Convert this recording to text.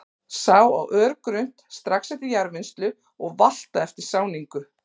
Sá á örgrunnt, strax eftir jarðvinnslu og valta eftir sáningu.